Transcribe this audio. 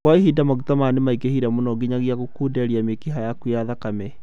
Kwa ihinda, maguta maya nomaingighe mũno nginyagia gũkunderia mĩkiha yaku ya thakame